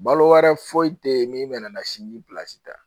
Balo wɛrɛ foyi tɛ yen min bɛ na sini ta